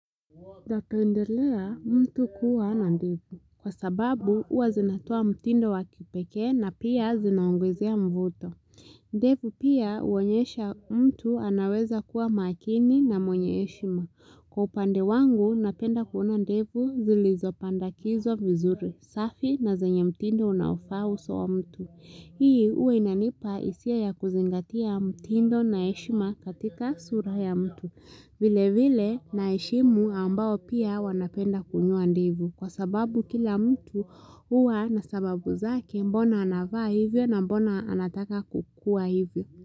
Napendelea, mtu kuwa na ndevu. Kwa sababu, huwa zinatoa mtindo wakipekee na pia zinaongezea mvuto. Ndevu pia uonyesha mtu anaweza kuwa makini na mwenye heshima. Kwa upande wangu, napenda kuona ndevu zilizopandakizwa vizuri, safi na zenye mtindo unaofaa uso wa mtu. Hii, huwa inanipa hisia ya kuzingatia mtindo na heshima katika sura ya mtu. Vile vile naheshimu ambao pia wanapenda kunyoa ndevu kwa sababu kila mtu huwa na sababu zake mbona anavaa hivyo na mbona anataka kukua hivyo.